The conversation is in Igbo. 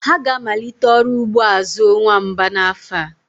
Ha ga-amalite ọrụ ugbo azu nwamba n'afọ a.